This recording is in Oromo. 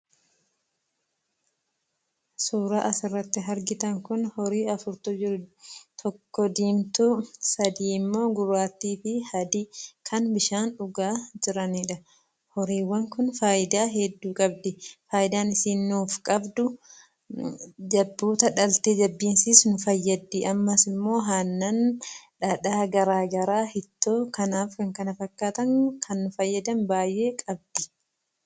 Suuraa asirratti argitan kun horii afurtu jiru. Tokko diimtuu, sadii immoo gurraattii adii, kan bishaan dhugaa jiraniidha. Horiiwwaan kun faayidaa hedduu qabdi; faayidaa ishiin nuuf qabdu ,jabboota dhaltee jabbiin ishiis nu fayyaddi. Ammas immoo aannan, dhadhaa garaagaraa, ittoo kanaaf kan kana fakkataan kan nu fayyadan baay'ee qabdi.